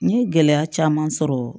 N ye gɛlɛya caman sɔrɔ